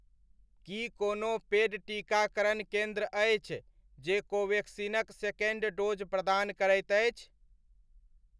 की कोनो पेड टीकाकरण केन्द्र अछि जे कोवेक्सिनक सेकण्ड डोज़ प्रदान करैत अछि?